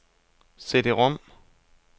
CD-rom